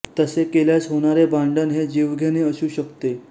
तसे केल्यास होणारे भांडण हे जीवघेणे असू शकते